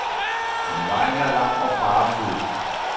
Men vejen er lang og farefuld.